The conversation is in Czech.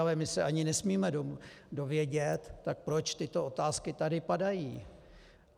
Ale my se ani nesmíme dovědět, tak proč tyto otázky tady padají?